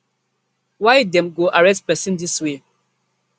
why dem go arrest pesin dis way